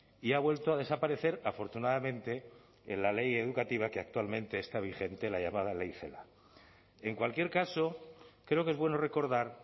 y ha vuelto a desaparecer afortunadamente en la ley educativa que actualmente está vigente la llamada ley celaá en cualquier caso creo que es bueno recordar